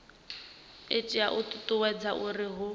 itela u ṱuṱuwedza uri hu